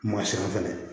Masira fɛnɛ